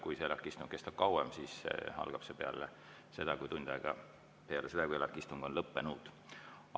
Kui ELAK‑i istung kestab kauem, siis algab see peale seda, kui ELAK‑i istung on lõppenud.